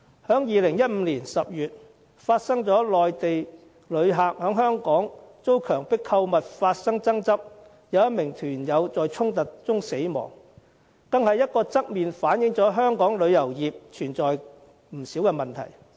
在2015年10月，有內地旅客在香港因遭強迫購物而發生爭執，有1名團友在衝突中死亡，這個案便側面反映出香港旅遊業存在不少問題。